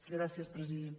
gràcies president